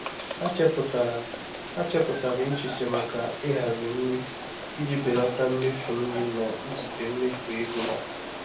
Ha chepụtara Ha chepụtara echiche maka ịhazi nri iji belata mmefu nri na izute mmefu ego ha.